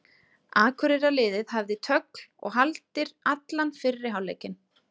Akureyrarliðið hafði tögl og haldir allan fyrri hálfleikinn.